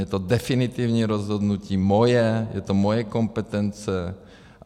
Je to definitivní rozhodnutí, moje, je to moje kompetence.